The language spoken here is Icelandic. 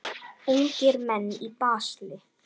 Ungir menn í basli.